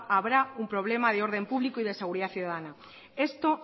habrá un problema de orden público y de seguridad ciudadana esto